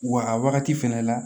Wa a wagati fɛnɛ la